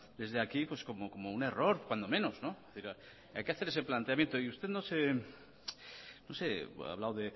desde aquí como un error cuando menos pero hay que hacer ese planteamiento y usted ha hablado